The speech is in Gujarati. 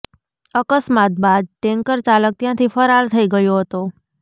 અકસ્માત બાદ ટેન્કર ચાલક ત્યાંથી ફરાર થઈ ગયો હતો